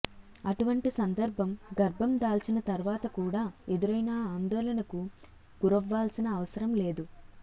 అటువంటి సందర్భం గర్భం దాల్చిన తరువాత కూడా ఎదురైనా ఆందోళనకు గురవ్వాల్సిన అవసరం లేదు